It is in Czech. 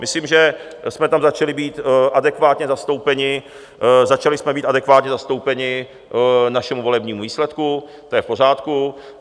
Myslím, že jsme tam začali být adekvátně zastoupeni, začali jsme být adekvátně zastoupeni našemu volebnímu výsledku, to je v pořádku.